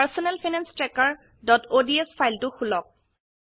personal finance trackerঅডছ ফাইলটো খোলক